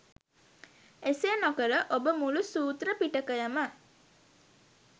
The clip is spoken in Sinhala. එසේ නොකර ඔබ මුලු සූත්‍ර පිටකයම